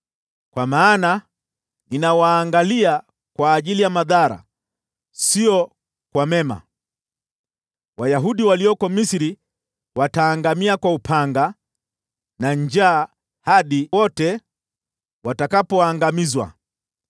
Kwa maana ninawaangalia kwa ajili ya madhara, wala sio kwa mema. Wayahudi walioko Misri wataangamia kwa upanga na njaa, hadi wote watakapoangamizwa.